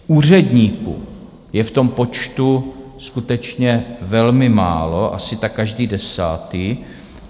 Úředníků je v tom počtu skutečně velmi málo, asi tak každý desátý.